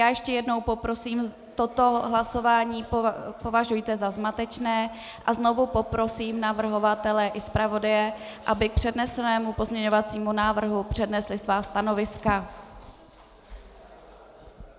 Já ještě jednou poprosím - toto hlasování považujte za zmatečné a znovu poprosím navrhovatele i zpravodaje, aby k přednesenému pozměňovacímu návrhu přednesli svá stanoviska.